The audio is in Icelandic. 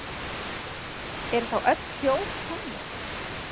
Eru þá öll hljóð tónlist?